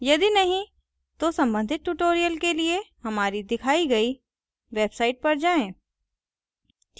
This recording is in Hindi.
यदि नहीं तो संबंधित tutorial के लिए हमारी दिखायी गयी website पर जाएँ